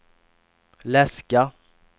läska